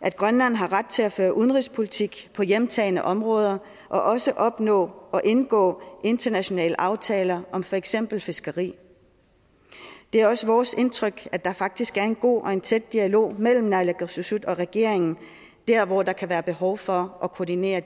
at grønland har ret til at føre udenrigspolitik på hjemtagne områder og også opnå og indgå internationale aftaler om for eksempel fiskeri det er også vores indtryk at der faktisk er en god og en tæt dialog mellem naalakkersuisut og regeringen der hvor der kan være behov for at koordinere